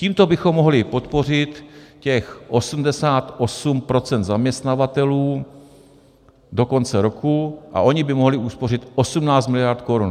Tímto bychom mohli podpořit těch 88 % zaměstnavatelů do konce roku a oni by mohli uspořit 18 miliard korun.